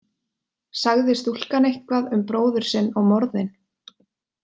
Sagði stúlkan eitthvað um bróður sinn og morðin?